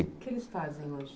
O que eles fazem hoje?